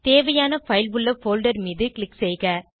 தேவையான பைல் உள்ள போல்டர் மீது க்ளிக் செய்க